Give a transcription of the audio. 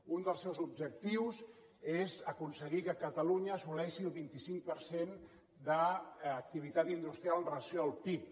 un dels seus objectius és aconseguir que catalunya assoleixi el vint cinc per cent d’activitat industrial amb relació al pib